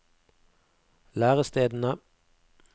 lærestedene